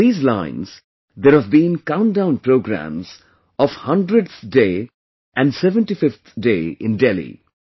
On these lines, there have been countdown programs of 100th day and 75th day in Delhi